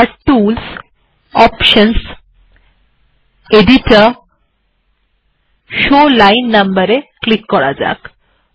এবার tools options editor show line numbers এ click করা যাক